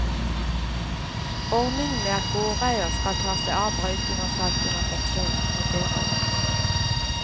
Ordningen med at gårdeier skal ta seg av brøyting og salting av fortauene, fungerer ikke.